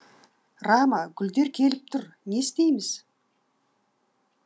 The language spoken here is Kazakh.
рама гүлдер келіп тұр не істейміз